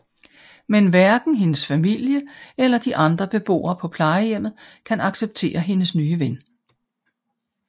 Men hverken hendes familie eller de andre beboere på plejehjemmet kan acceptere hendes nye ven